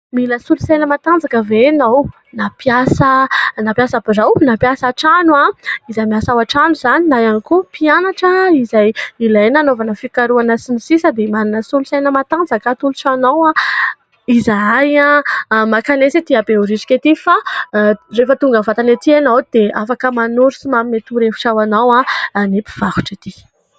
Mila solosaina matanjaka ve ianao ? Na mpiasa birao na mpiasa an-trano izay miasa ao an-trano izany na ihany koa mpianatra izay ilaina anaovana fikarohana sy ny sisa dia manana solosaina matanjaka atolotra anao izahay ; makanesa ety Behoririka ety fa rehefa tonga mivantana ety ianao dia afaka manoro sy manome torohevitra ho anao ny mpivarotra ety.